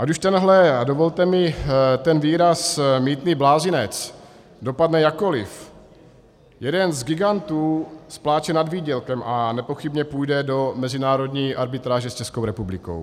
Ať už tenhle, dovolte mi ten výraz, mýtný blázinec dopadne jakkoliv, jeden z gigantů spláče nad výdělkem a nepochybně půjde do mezinárodní arbitráže s Českou republikou.